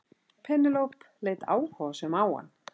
Penélope leit áhugasöm á hann.